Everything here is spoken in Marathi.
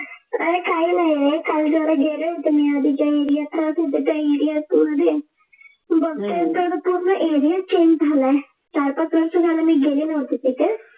अरे काही नाही रे काल जरा गेले होते मी आधीच्या area त बघते तर पूर्ण Area च change झालाय चार-पाच वर्षे झाले मी गेले नव्हते तिथे,